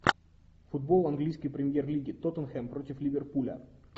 футбол английской премьер лиги тоттенхэм против ливерпуля